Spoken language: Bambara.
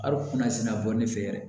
A kunna sina bɔ ne fɛ yɛrɛ